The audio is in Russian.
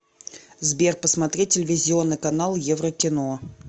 сбер посмотреть телевизионный канал еврокино